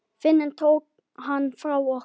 Fíknin tók hann frá okkur.